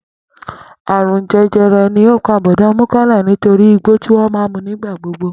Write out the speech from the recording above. Àrùn je̩je̩re̩ ni ó pà Bò̩dá Múkáílà nítorí igbó ti ó máa ń mu nígbà gbogbo